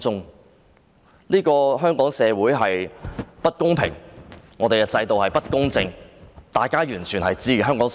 對於香港社會的不公平、制度的不公正，香港市民了然於心。